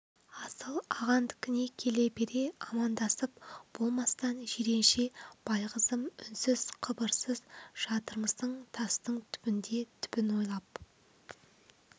асыл ағандікіне келе бере амандасып болмастан жиренше байғызым үнсіз қыбырсыз жатырмысың тастың түбінде түбін ойлап